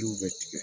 bɛ tigɛ